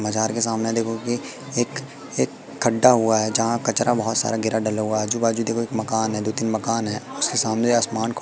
मजार के सामने देखो कि एक एक खड्डा हुआ है। जहां कचरा बहोत सारा गिरा डला हुआ है। आजू-बाजू देखो एक मकान है। दो तीन मकान है उसके सामने आसमान को--